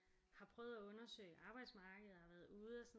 Har prøvet at undersøge arbejdsmarkedet og har været ude og sådan